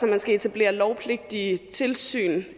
man skal etablere lovpligtige tilsyn